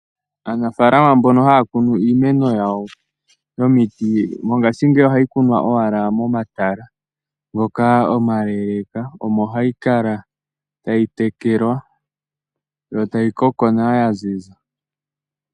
Aanafalama mbono haya kunu iimeno yawo yomiti mongashingeyi ohayi kunwa owala momatala ngoka omaleeleka omo hayi kala tayi tekelwa yo tayi koko nawa ya ziza.